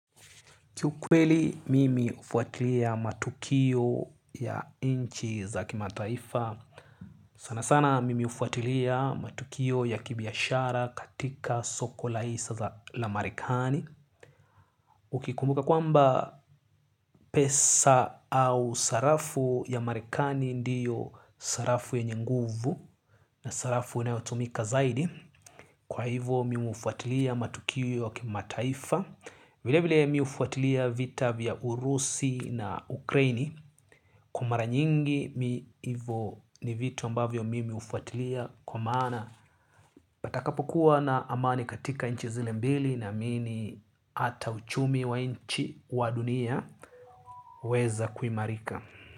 Kiukweli mimi ufuatilia matukio ya inchi za kimataifa. Sana sana mimi ufuatilia matukio ya kibiashara katika soko la isa la marikani. Ukikumbuka kwamba pesa au sarafu ya marikani ndiyo sarafu yenye nguvu na sarafu inayotumika zaidi. Kwa hivo mimi hufuatilia matukio ya kimataifa. Vile vile mi hufuatilia vita vya Urusi na Ukraini kwa maara nyingi mi ivo ni vitu ambavyo mimi ufuatilia kwa maana patakapokuwa na amani katika inchi zile mbili naamini ata uchumi wa inchi wa dunia waeza kuimarika.